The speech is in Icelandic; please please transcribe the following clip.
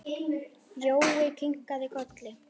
Jói kinkaði kolli.